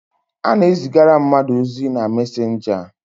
A na-ezigara mmadụ ozi na messenger.